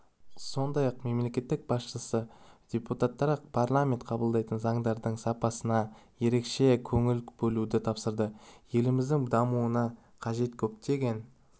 сондай-ақ мемлекеттік басшысы депутаттарға парламент қабылдайтын заңдардың сапасына ерекше көңіл бөлуді тапсырды еліміздің дамуына қажет көптеген